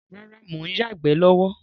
Rárá, mo ń yagbẹ̀ lọ́wọ́